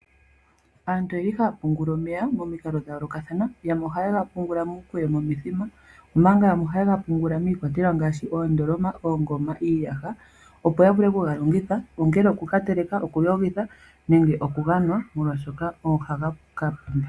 Aantu oyeli haya pungula omeya momikalo dha yoolokathana yamwe ohayega pungula muukweyo momithima. Omanga yamwe ohayega pungula miikwatelwa ngaashi oondoloma iiyaha opo ya vule okugalongitha ongele oku ka teleka okuyogitha nenge okuga nwa molwaashoka ohaga ka pumba.